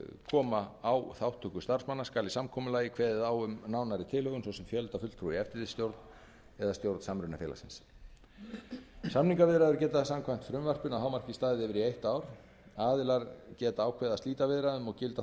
koma á þátttöku starfsmanna skal í samkomulagi kveðið á um nánari tilhögun svo sem fjölda fulltrúa í eftirlitsstjórn eða stjórn samrunafélagsins samningaviðræður geta samkvæmt frumvarpinu að hámarki staðið yfir í eitt ár aðilar geta ákveðið að slíta viðræðum og gilda